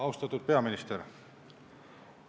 Austatud peaminister!